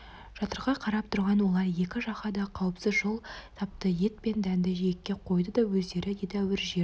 жатырқай қарап тұрған олар екі жаққа да қауіпсіз жол тапты ет пен дәнді жиекке қойды да өздері едәуір жер